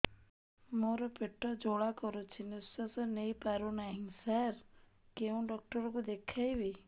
ମୋର ପେଟ ଜ୍ୱାଳା କରୁଛି ନିଶ୍ୱାସ ନେଇ ପାରୁନାହିଁ ସାର କେଉଁ ଡକ୍ଟର କୁ ଦେଖାଇବି